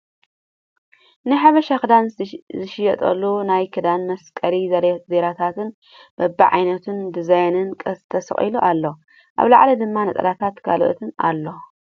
ናይ ሓበሻ ክዳን ዝሽየጠሉ ናይ ክዳን መስቀሊ ዙርያታት በቢ ዓይነቱ ን ዲዛይኑን ተሰቂሉ ኣሎ ። ኣብ ላዕሊ ድማ ነፀላታትን ካልኦትን ኣሎ ።